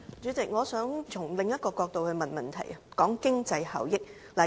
主席，我想從另一個角度提出補充質詢，談一談經濟效益。